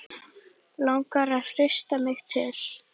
Langar að hrista mig til.